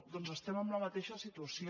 doncs estem en la mateixa situació